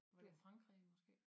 Var det ik Frankrig måske